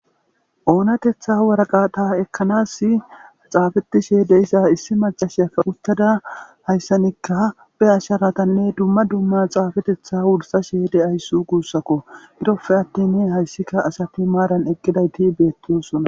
oonatetha waraqata ekkanas xaafetishe de issa issi macashiyake uttada hayssanikka be asharatanne dumma dumma xaafetetha wursa sheede ayssu guussakko girofe attin hayssikka asati maaran eqqiday ti beettiyosona